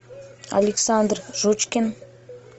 александр жучкин